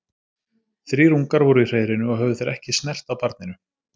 Þrír ungar voru í hreiðrinu og höfðu þeir ekki snert á barninu.